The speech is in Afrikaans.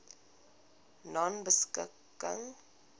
nonebeskikking